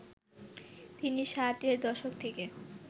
তিনি ষাট এর দশক থেকে